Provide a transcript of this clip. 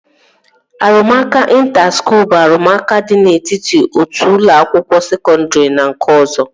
Arụmụka ịnta skuul bụ arụmụka dị n'etiti otu ụlọ akwụkwọ sekọndri na nke ọzọ